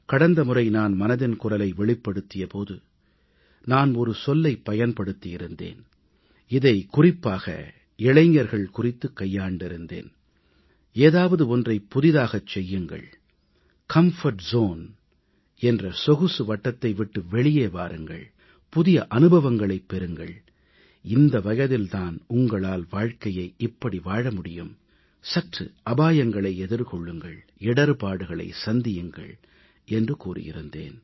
கடந்த முறை நான் மனதின் குரலை வெளிப்படுத்திய போது நான் ஒரு சொல்லைப் பயன்படுத்தி இருந்தேன் இதைக் குறிப்பாக இளைஞர்கள் குறித்து கையாண்டிருந்தேன் ஏதாவது ஒன்றைப் புதிதாகச் செய்யுங்கள் கம்ஃபோர்ட் ஜோன் என்ற சொகுசு வட்டத்தை விட்டு வெளியே வாருங்கள் புதிய அனுபவங்களைப் பெறுங்கள் இந்த வயதில் தான் உங்களால் வாழ்க்கையை இப்படி வாழ முடியும் சற்று அபாயங்களை எதிர்கொள்ளுங்கள் இடர்ப்பாடுகளை சந்தியுங்கள் என்று கூறியிருந்தேன்